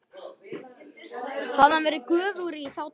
Hafði hann verið göfugri í þá daga?